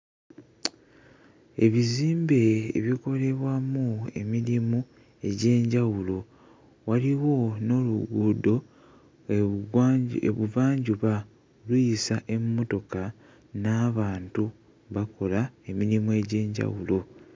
Ebizimbe ebikolebwamu emirimu egy'enjawulo, waliwo n'oluguudo e Bugwanju e Buvanjuba luyisa emmotoka n'abantu bakola emirimu egy'enjawulo.